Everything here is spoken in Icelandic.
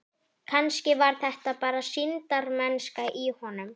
Kannski var þetta bara sýndarmennska í honum.